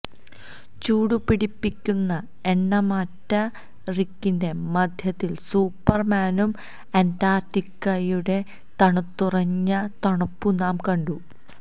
ചൂടുപിടിപ്പിക്കുന്ന എണ്ണമറ്റ റിക്കിന്റെ മധ്യത്തിൽ സൂപ്പർമാനും അന്റാർട്ടിക്കയുടെ തണുത്തുറഞ്ഞ തണുപ്പും നാം കണ്ടു